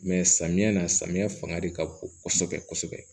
samiya na samiya fanga de ka bon kɔsɔbɛ kɔsɔbɛ